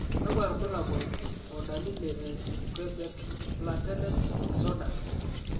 kakwa irbulabol o dalili e Quebec platelet disorder?